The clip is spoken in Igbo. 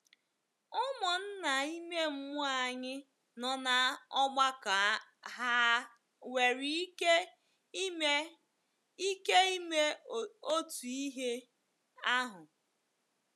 Ụmụnna ime mmụọ anyị nọ n'ọgbakọ hà nwere ike ime ike ime otu ihe ahụ?